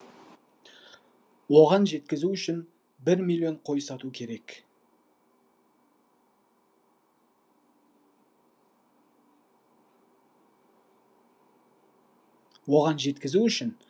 оған жеткізу үшін бір миллион қой сату керек